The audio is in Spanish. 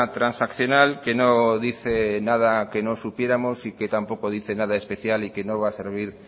transaccional que no dice nada que no supiéramos y que tampoco dice nada especial y que no va a servir